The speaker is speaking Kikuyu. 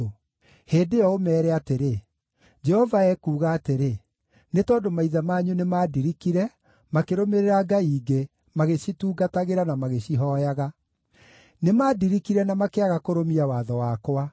Hĩndĩ ĩyo ũmeere atĩrĩ: Jehova ekuuga atĩrĩ, ‘Nĩ tondũ maithe manyu nĩmandirikire, makĩrũmĩrĩra ngai ingĩ, magĩcitungatagĩra na magĩcihooyaga. Nĩmandirikire na makĩaga kũrũmia watho wakwa.